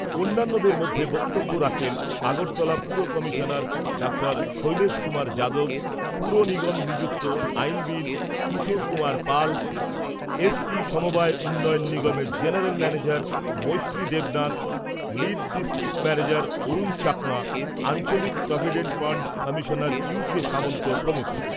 অন্যান্যদের মধ্যে বক্তব্য রাখেন আগরতলা পুর কমিশনার ডাঃ শৈলেশ কুমার যাদব, পুর নিগম নিযুক্ত আইনবিদ কিশোর কুমার পাল, এস সি সমবায় উন্নয়ন নিগমের general manager Maitri Debnath, lead district manager Arun Chakma, আঞ্চলিক provident fund commissioner U K Samanta প্রমুখ।